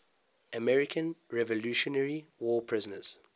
american revolutionary war prisoners